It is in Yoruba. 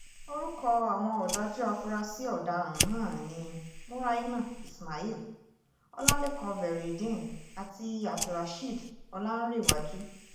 orúkọ àwọn ọ̀dájú afurasí ọ̀daràn náà ni muraina ismail ọlálẹ́kan veryideen àti abdulrasheed ọláǹrèwájú